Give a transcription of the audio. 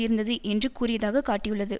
இருந்தது என்று கூறியதாக காட்டியுள்ளது